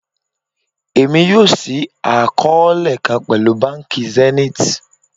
Emi yoo ṣii akọọlẹ kan pẹlu banki Zenith